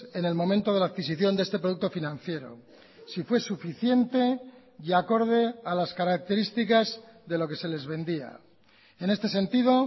en el momento de la adquisición de esteproducto financiero si fue suficiente y acorde a las características de lo que se les vendía en este sentido